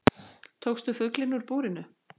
Tókst þú fuglinn úr búrinu?